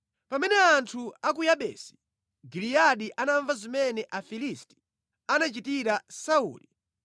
Pamene anthu a ku Yabesi Giliyadi anamva zimene Afilisti anachitira Sauli,